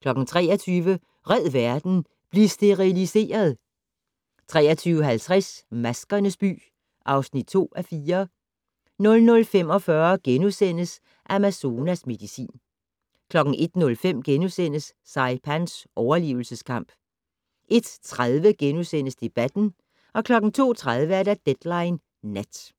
23:00: Red verden - bliv steriliseret! 23:50: Maskernes by (2:4) 00:45: Amazonas medicin * 01:05: Saipans overlevelseskamp * 01:30: Debatten * 02:30: Deadline Nat